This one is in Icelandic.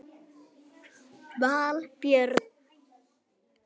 Valbjörn